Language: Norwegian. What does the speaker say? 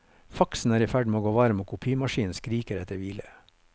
Faxen er i ferd med å gå varm og kopimaskinen skriker etter hvile.